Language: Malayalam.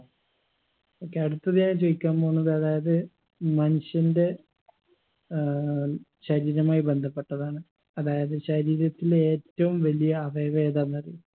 okay അടുത്തത് ഞാൻ ചോയിക്കാൻ പോന്നത് അതായത് മനുഷ്യന്റെ ഏർ ശരീരീരമായി ബന്ധപ്പെട്ടതാണ് അതായത് ശരീരത്തിലെ ഏറ്റവും വലിയ അവയവം ഏതാന്നറിയോ